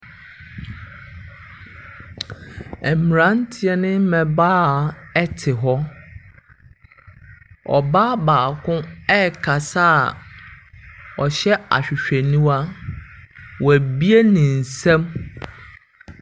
Mmranteɛ ne mmaabawa ɛte hɔ. Ɔbaa baako ɛkasa a ɔhyɛ ahwehwɛniwa. Wabue ne nsam.